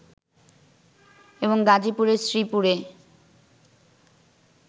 এবং গাজিপুরের শ্রীপুরে